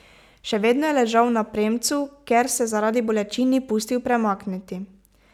Še vedno je ležal na premcu, ker se zaradi bolečin ni pustil premakniti.